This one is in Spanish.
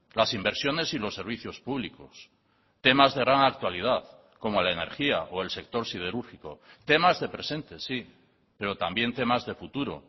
las inversiones y los servicios públicos temas de gran actualidad como la energía o el sector siderúrgico temas de presente sí pero también temas de futuro